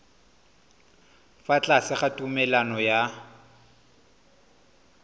fa tlase ga tumalano ya